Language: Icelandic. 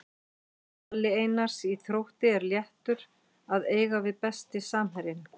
Palli Einars í Þrótti er léttur að eiga við Besti samherjinn?